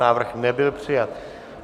Návrh nebyl přijat.